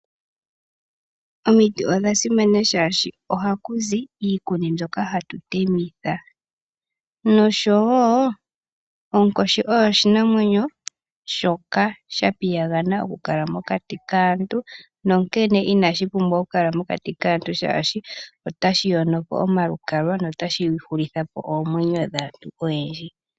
Omiti odha simana shashi ohakuzi iikuni mbyoka hatu temitha, nosho wo onkoshi oyo oshinamwenyo shoka sha piyagana okukala mokati kaantu, nonkene inashi pumbwa oku kala mokati kaantu shaashi otashi yono omalukalwa notashi shulithapo oomwenyo dhaantu oyendji.